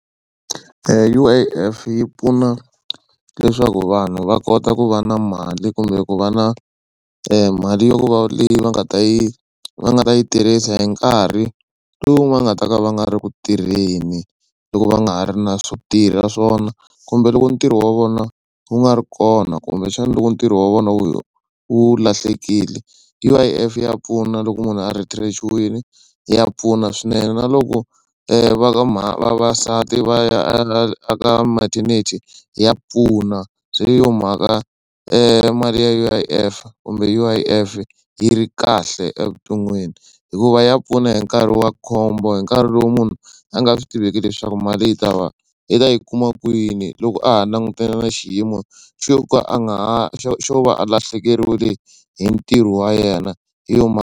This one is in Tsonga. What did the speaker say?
U_I_F yi pfuna leswaku vanhu va kota ku va na mali kumbe ku va na mali yo ku va leyi va nga ta yi va nga ta yi tirhisa hi nkarhi lowu va nga ta ka va nga ri ku tirheni loko va nga ha ri na swo tirha swona kumbe loko ntirho wa vona wu nga ri kona kumbexana loko ntirho wa vona wu wu lahlekile. U_I_F ya pfuna loko munhu a retrench-iwini ya pfuna swinene na loko va ka vavasati va ya a ka maternity ya pfuna se hi yo mhaka mali ya U_I_F kumbe U_I_F yi ri kahle evuton'wini hikuva ya pfuna hi nkarhi wa khombo hi nkarhi lowu munhu a nga swi tiveki leswaku mali yi ta va i ta yi kuma kwini loko a ha langutane na xiyimo xo ka a nga ha xo xo va a lahlekeriwile hi ntirho wa yena hi yona .